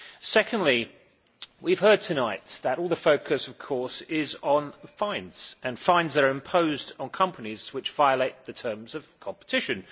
Secondly, we have heard tonight that all the focus is on fines and fines that are imposed on companies which violate the terms of competition.